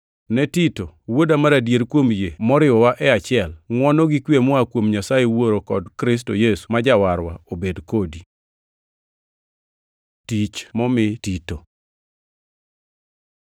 Ne Tito, wuoda mar adier kuom yie moriwowa e achiel: Ngʼwono gi kwe moa kuom Nyasaye Wuoro kod Kristo Yesu ma Jawarwa obed kodi. Tich momi Tito